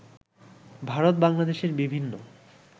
ভারত বাংলাদেশের বিভিন্ন